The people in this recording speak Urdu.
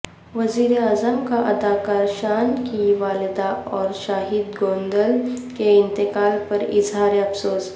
وزیراعظم کا اداکار شان کی والدہ اور شاہد گوندل کے انتقال پراظہارافسوس